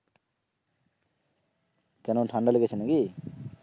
কেন ঠান্ডা লেগেছে নাকি?